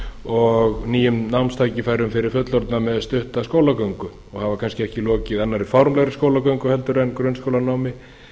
og nýjum námstækifærum fyrir fullorðna með stutta skólagöngu og hafa kannski ekki lokið annarri formlegri skólagöngu en grunnskólanámi